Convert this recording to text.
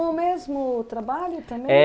Com o mesmo trabalho também? É